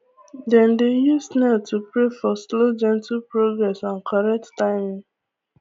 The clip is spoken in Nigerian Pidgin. dem dey use snail to pray for slow gently progrss and correct timing